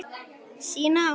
Sína átt.